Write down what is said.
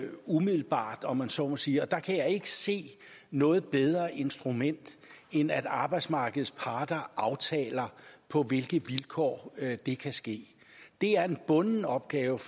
umiddelbart om man så må sige og der kan jeg ikke se noget bedre instrument end at arbejdsmarkedets parter aftaler på hvilke vilkår det kan ske det er en bunden opgave